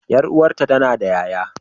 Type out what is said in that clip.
Ƴar uwata tana da ƴaƴa.